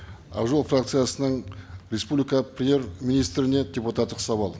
ақ жол фракциясынан республика премьер министріне депутаттық сауал